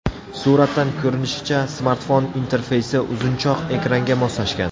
Suratdan ko‘rinishicha, smartfon interfeysi uzunchoq ekranga moslashgan.